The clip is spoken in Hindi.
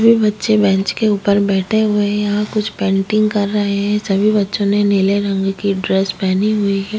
ये बच्चे बेंच के ऊपर बैठे हुए हैं यहाँ कुछ पेंटिंग कर रहे हैं सभी बच्चों ने नीले रंग की ड्रेस पेहनी हुई है।